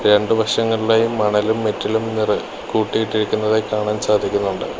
രണ്ടു വശങ്ങളിലായി മണലും മെറ്റലും നിറ കൂട്ടിയിട്ടിരിക്കുന്നതായി കാണാൻ സാധിക്കുന്നുണ്ട്.